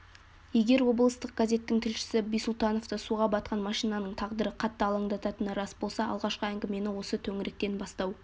егер облыстық газеттің тілшісі бисұлтановты суға батқан машинаның тағдыры қатты алаңдататыны рас болса алғашқы әңгімені осы төңіректен бастау